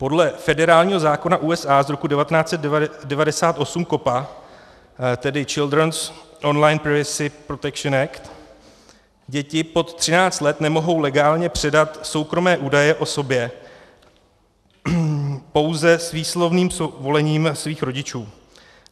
Podle federálního zákona USA z roku 1998 COPPA, tedy Childrens online privacy protection act, děti pod 13 let nemohou legálně předat soukromé údaje o sobě, pouze s výslovným svolením svých rodičů.